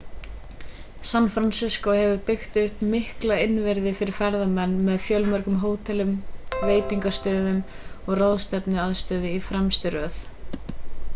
san francisco hefur byggt upp mikla innviði fyrir ferðamenn með fjölmörgum hótelum veitingastöðum og ráðstefnuaðstöðu í fremstu röð